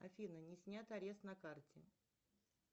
афина не снят арест на карте